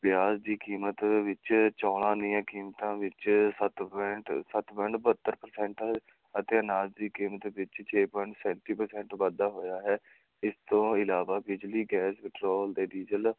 ਪਿਆਜ਼ ਦੀ ਕੀਮਤ ਵਿੱਚ, ਚੌਲਾਂ ਦੀਆਂ ਕੀਮਤਾਂ ਵਿੱਚ ਸੱਤ point ਸੱਤ point ਬਹੱਤਰ percent ਅਤੇ ਅਨਾਜ ਦੀ ਕੀਮਤ ਵਿੱਚ ਛੇ point ਸੈਂਤੀ percent ਵਾਧਾ ਹੋਇਆ ਹੈ, ਇਸ ਤੋਂ ਇਲਾਵਾ ਬਿਜਲੀ, ਗੈਸ, ਪੈਟਰੋਲ ਤੇ ਡੀਜ਼ਲ